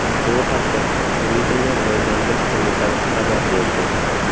Bu haqda Turizmni rivojlantirish qo‘mitasi xabar berdi.